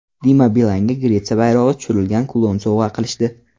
Dima Bilanga Gretsiya bayrog‘i tushirilgan kulon sovg‘a qilishdi.